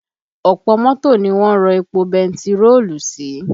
Ọ̀pọ̀ mọ́tò ni wọ́n ń rọ epo bentiroolu sí